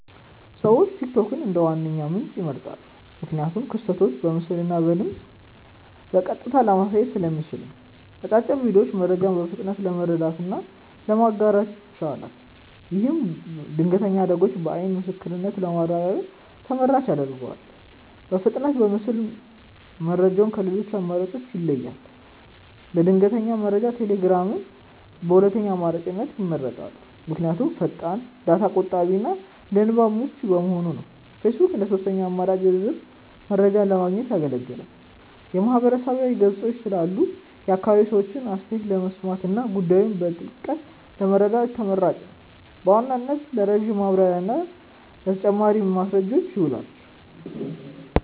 ሰዎች ቲክቶክን እንደ ዋነኛ ምንጭ ይመርጣሉ። ምክንያቱም ክስተቶችን በምስልና በድምፅ በቀጥታ ለማየት ስለሚያስችል ነው። አጫጭር ቪዲዮዎቹ መረጃን በፍጥነት ለመረዳትና ለማጋራት ይችላል። ይህም ድንገተኛ አደጋዎችን በዓይን ምስክርነት ለማረጋገጥ ተመራጭ ያደርገዋል። በፍጥነቱና በምስል መረጃው ከሌሎች አማራጮች ይለያል። ለድንገተኛ መረጃ ቴሌግራምን በሁለተኛ አማራጭነት ይመርጣሉ። ምክንያቱም ፈጣን፣ ዳታ ቆጣቢና ለንባብ ምቹ በመሆኑ ነው። ፌስቡክ እንደ ሦስተኛ አማራጭ ዝርዝር መረጃዎችን ለማግኘት ያገለግላል። የማህበረሰብ ገጾች ስላሉ የአካባቢውን ሰዎች አስተያየት ለመስማትና ጉዳዩን በጥልቀት ለመረዳት ተመራጭ ነው። በዋናነት ለረጅም ማብራሪያና ለተጨማሪ ማስረጃዎች ይውላል።